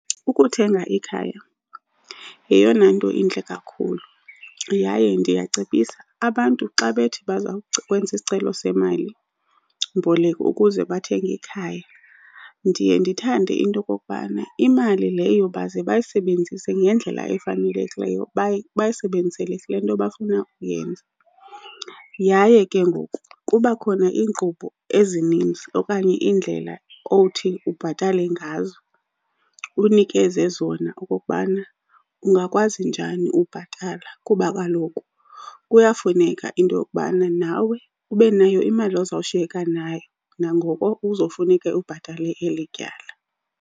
Ukuthenga ikhaya yeyona nto intle kakhulu. Yaye ndiyacebisa, abantu xa bethi kwenza isicelo semalimboleko ukuze bathenge ikhaya, ndiye ndithande into yokokubana imali leyo baze bayisebenzise ngendlela efanelekileyo. Bayisebenzisele kule nto bafuna uyenza. Yaye ke ngoku kuba khona iinkqubo ezininzi okanye iindlela othi ubhatale ngazo, unikeze zona okokubana ungakwazi njani ubhatala. Kuba kaloku kuyafuneka into yokubana nawe ube nayo imali ozawushiyeka nayo nangoko uzofuneke ubhatale eli tyala.